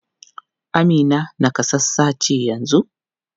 Amina nakasassa ce yanzu?